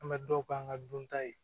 An bɛ dɔw k'an ka dunta ye